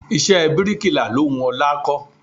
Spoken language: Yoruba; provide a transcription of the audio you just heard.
Iṣẹ́ bíríkilà lo wù ọlá kó.